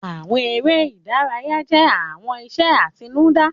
Àwọn eré ìdárayá jẹ́ àwọn iṣẹ́ àtinúdá